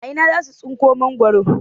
A ina za su tsinko mangwaro?